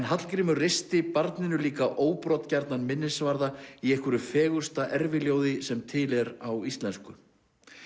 Hallgrímur reisti barninu líka minnisvarða í einhverju fegursta sem til er á íslensku